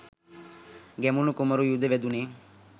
ගැමුණු කුමරු යුධ වැදුනේ